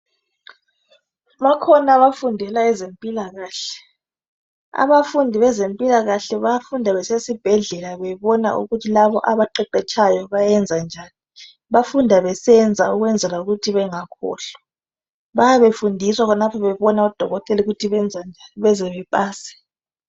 Bakhona abafundelayo ezempilakahle abafundi bezempilakahle bafunda besesibhedlela bebona ukuthi labo abaqeqetshayo bayenza njani bafunda besenza ukwenzela ukuthi bengakhohlwa bayabe befundiswa khonapho bebona ukuthi ngodokotela benza njani bezebepase.